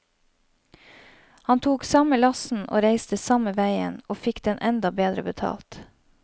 Han tok samme lasten og reiste samme veien, og fikk den enda bedre betalt.